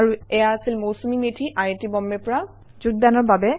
এয়া আছিল CDEEP IIT Bombay ৰ কান্নান Moudgalya